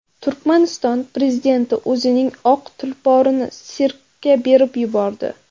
Turkmaniston prezidenti o‘zining oq tulporini sirkka berib yubordi.